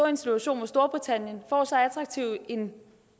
en situation hvor storbritannien får så attraktiv en